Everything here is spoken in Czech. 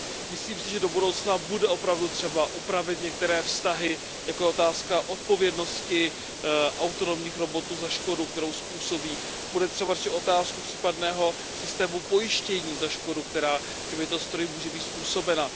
Myslím si, že do budoucna bude opravdu třeba upravit některé vztahy, jako je otázka odpovědnosti autonomních robotů za škodu, kterou způsobí, bude třeba řešit otázku případného systému pojištění za škodu, která těmito stroji může být způsobena.